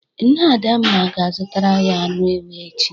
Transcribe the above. Nne Adamma ga-azụtara ya anụ ewu echi.